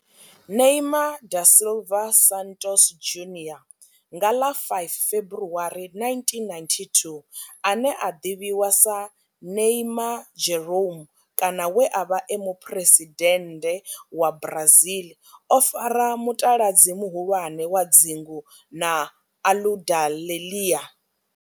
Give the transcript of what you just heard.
Neymar da Silva Santos Junior nga ḽa 5 February 1992, ane a ḓivhiwa sa Neymar Jeromme kana we a vha e muphuresidennde wa Brazil o fara mutaladzi muhulwane wa dzingu na Aludalelia.